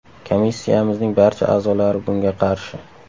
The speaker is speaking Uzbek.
Komissiyamizning barcha a’zolari bunga qarshi.